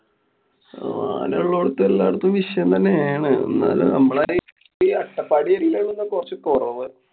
ആനള്ളോടുത്തു എല്ലാടത്തും വിഷയം തന്നെ ആണ്. ന്നാലും മ്മളെ അട്ടപ്പാടി area ലാണ് ഇപ്പൊ കൊറച്ചു കൊറവ്.